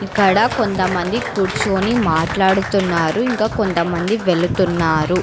ఇక్కడ కొంతమంది కూర్చుని మాట్లాడుతున్నారు ఇంకా కొంతమంది వెళుతున్నారు.